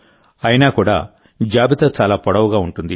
అయినా కూడా జాబితా చాలా పొడవుగా ఉంటుంది